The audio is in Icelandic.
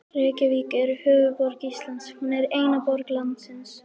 Reykjavík er höfuðborg Íslands. Hún er eina borg landsins.